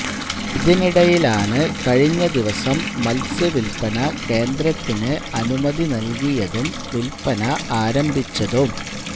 ഇതിനിടയിലാണ് കഴിഞ്ഞ ദിവസം മത്സ്യവില്പ്പന കേന്ദ്രത്തിനു അനുമതി നല്കിയതും വില്പ്പന ആരംഭിച്ചതും